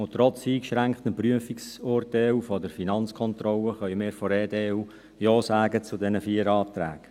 Trotz eingeschränktem Prüfungsurteil der Finanzkontrolle können wir von der EDU Ja zu diesen vier Anträgen sagen.